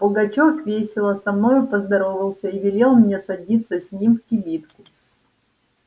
пугачёв весело со мною поздоровался и велел мне садиться с ним в кибитку